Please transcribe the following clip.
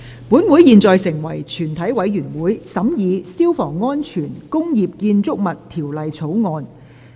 本會現在成為全體委員會，審議《消防安全條例草案》。